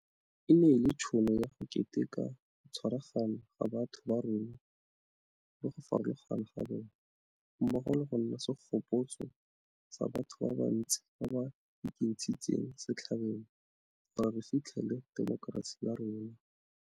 E ne e le tšhono ya go keteka go tshwaragana ga batho ba rona le go farologana ga bona, mmogo le go nna segopotso sa batho ba ba ntsi ba ba ekentshitseng setlhabelo gore re fitlhelele temokerasi ya rona.